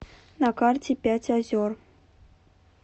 на карте пять озер